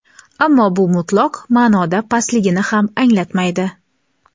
ammo bu mutlaq ma’noda pastligini ham anglatmaydi.